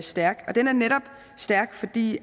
stærk og den er netop stærk fordi